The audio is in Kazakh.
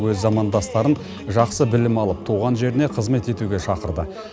өз замандастарын жақсы білім алып туған жеріне қызмет етуге шақырды